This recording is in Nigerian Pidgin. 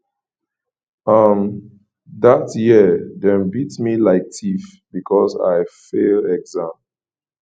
um dat year dem beat me like tiff because i fail exam